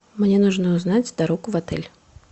мне нужно узнать дорогу в отель